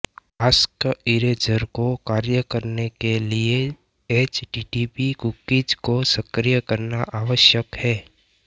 आस्कइरेज़र को कार्य करने के लिए एचटीटीपी कुकीज को सक्रिय करना आवश्यक है